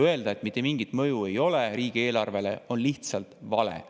Öelda, et mitte mingit mõju ei ole riigieelarvele, on lihtsalt vale.